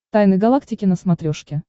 тайны галактики на смотрешке